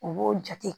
U b'o jate